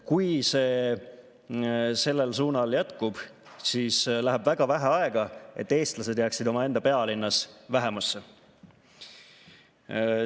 Kui see sellel suunal jätkub, siis läheb väga vähe aega, et eestlased jääksid omaenda pealinnas vähemusse.